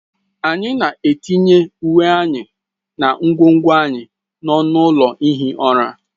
Anyị na-etinye uwe anyị na ngwongwo anyị n'ọnụ ụlọ ihi ụra.